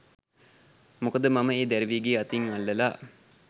මොකද මම ඒ දැරිවිගේ අතින් අල්ලලා